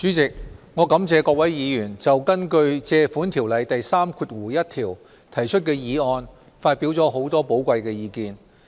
主席，我感謝各位議員就根據《借款條例》第31條提出的議案發表了很多寶貴意見。